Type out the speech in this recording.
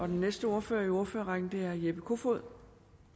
den næste ordfører i ordførerrækken er herre jeppe kofod